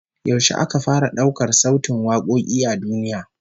Yaushe aka fara daukar sautin wakoki a duniya?